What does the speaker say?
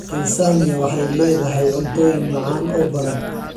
Tansaaniya waxay leedahay cuntooyin macaan oo badan.